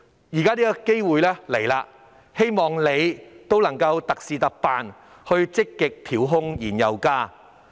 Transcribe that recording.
現時希望政府特事特辦，積極調控燃油價格。